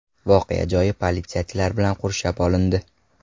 Voqea joyi politsiyachilar bilan qurshab olindi.